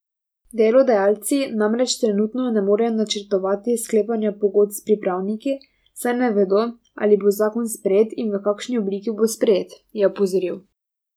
Delodajalci namreč trenutno ne morejo načrtovati sklepanja pogodb s pripravniki, saj ne vedo, ali bo zakon sprejet in v kakšni obliki bo sprejet, je opozoril.